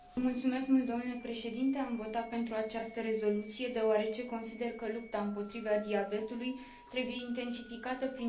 Am votat pentru această rezoluție, deoarece consider că lupta împotriva diabetului trebuie intensificată prin toate mijloacele.